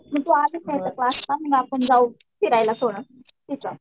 मग तू आलीस ना इथं क्लासला आपण जाऊ. फिरायला थोडं